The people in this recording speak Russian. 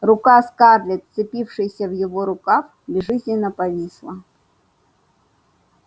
рука скарлетт вцепившаяся в его рукав безжизненно повисла